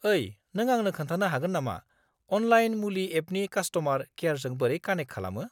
ओइ, नों आंनो खोन्थानो हागोन नामा अनलाइन मुलि एपनि कास्ट'मार केयारजों बोरै कानेक खालामो?